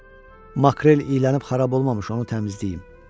Makrel iyələyib xarab olmamış onu təmizləyib.